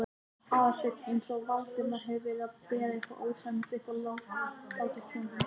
Aðalsteinn eins og Valdimar hefði verið að bera eitthvað ósæmilegt upp á látinn son hans.